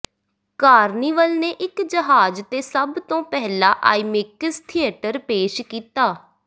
carnival ਨੇ ਇੱਕ ਜਹਾਜ਼ ਤੇ ਸਭ ਤੋਂ ਪਹਿਲਾ ਆਈਮੇਕਸ ਥੀਏਟਰ ਪੇਸ਼ ਕੀਤਾ